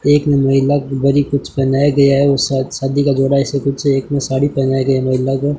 एक महिला को उधर ही कुछ पहनाया गया है और साथ शादी का जोड़ा है ऐसा कुछ एक ने साड़ी पहनाया गया है महिला को--